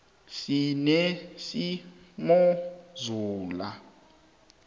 sinesimozula